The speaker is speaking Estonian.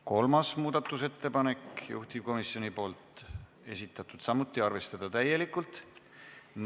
Kolmas muudatusettepanek, juhtivkomisjoni esitatud, samuti arvestada täielikult.